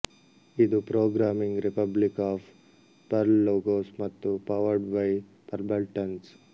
ಇದು programming republic of Perl logos ಮತ್ತು powered by pearl buttons